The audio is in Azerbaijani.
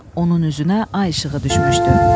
Onun üzünə ay işığı düşmüşdü.